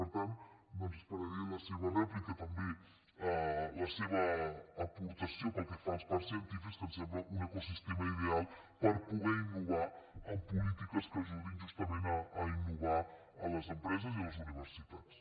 per tant esperaré la seva rèplica també la seva aportació pel que fa als parcs científics que em sembla un ecosistema ideal per poder innovar en polítiques que ajudin justament a innovar a les empreses i a les universitats